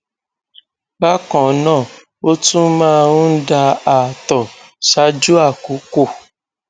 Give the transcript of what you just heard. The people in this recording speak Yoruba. bákan náà ó tún máa ń da ààtọ ṣáájú àkókò